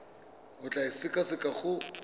o tla e sekaseka go